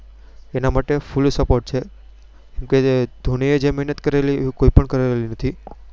તેના માટે Full Support છે. કેમ કે ધોનીએ જે મેહેનત કરી તે કોઈએ કરેલી નથી.